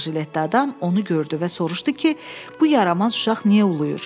Ağ jiletdə adam onu gördü və soruşdu ki, bu yaramaz uşaq niyə ulayır?